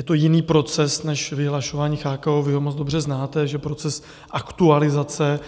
je to jiný proces než vyhlašování CHKO, vy ho moc dobře znáte, že proces aktualizace